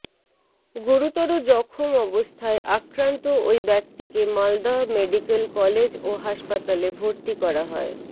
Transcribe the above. গুরুতর জখম অবস্থায় আক্রান্ত ওই ব্যক্তিকে মালদহ মেডিক্যাল কলেজ ও হাসপাতালে ভরতি করা হয়